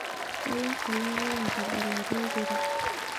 kenyor kuna kera aatadalata empira